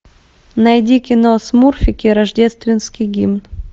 найди кино смурфики рождественский гимн